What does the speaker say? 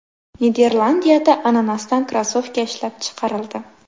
Niderlandiyada ananasdan krossovka ishlab chiqarildi.